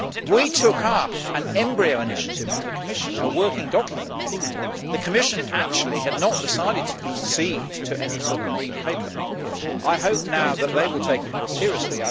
We took up an embryo initiative from the Commission, a working document. The Commission had not decided to proceed to any sort of Green Paper. I now hope that they will take it more seriously.